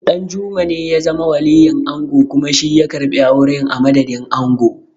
Ɗanjuma ne ya zama waliyin ango kuma shi ya karɓi auren a madadin ango.